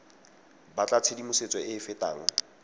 batla tshedimosetso e e fetang